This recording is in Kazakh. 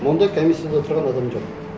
мон да комиссияда отырған адам жоқ